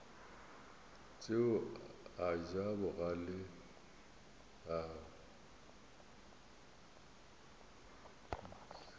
tšeo a ja bogale a